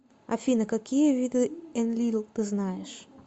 афина какие виды энлил ты знаешь